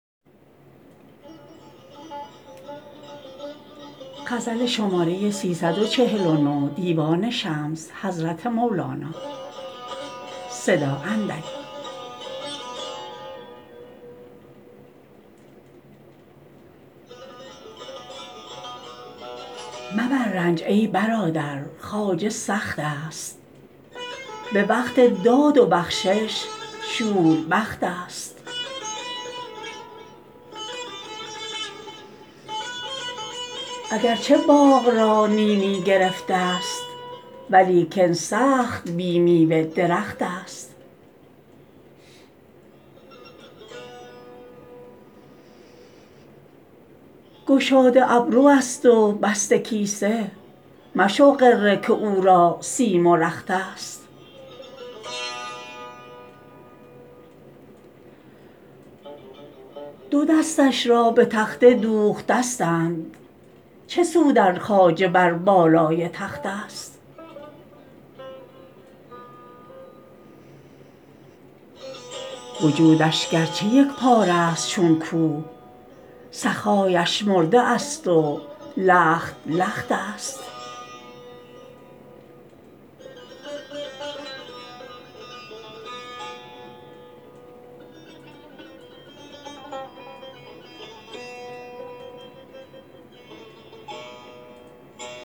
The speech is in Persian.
مبر رنج ای برادر خواجه سخت است به وقت داد و بخشش شوربخت است اگر چه باغ را نیمی گرفته است ولیکن سخت بی میوه درخت است گشاده ابروست و بسته کیسه مشو غره که او را سیم و رخت است دو دستش را به تخته دوختستند چه سود ار خواجه بر بالای تخت است وجودش گر چه یک پاره ست چون کوه سخا اش مرده است و لخت لخت است